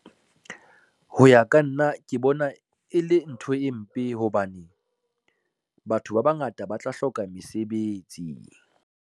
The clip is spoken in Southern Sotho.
Ho ya ka nna ke bona e le ntho e mpe hobane batho ba bangata ba tla hloka mesebetsi.